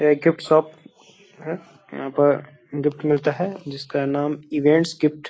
ये gift shop है यहां पर गिफ्ट मिलता है जिसका नाम इवेंट्स गिफ्ट --